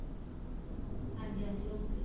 ਹਾਂਜੀ ਹਾਂਜੀ okay